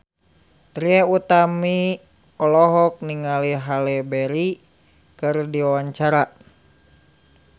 Trie Utami olohok ningali Halle Berry keur diwawancara